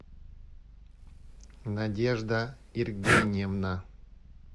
надежда иргеньевна